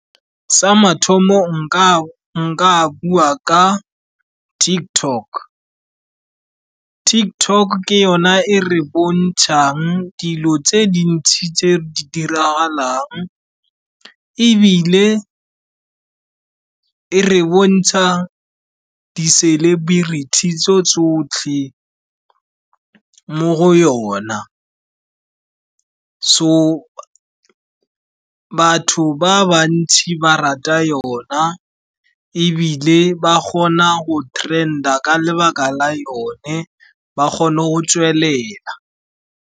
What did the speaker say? Sa mathomo, nka bua ka TikTok. TikTok ke yona e e re bontshang dilo tse dintsi tse di diragalang, ebile e re bontsha di-celebrity tso tsotlhe mo go yona. So, batho ba bantsi ba rata yone, ebile ba kgona go trend-a ka lebaka la yone, ba kgona go tswelela.